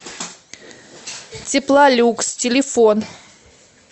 теплолюкс телефон